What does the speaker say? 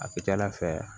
A ka ca ala fɛ